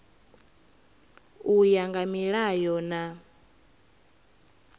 u ya nga milayo na